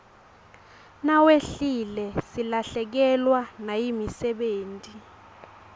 nawehlile silahlekewa nayimisebeti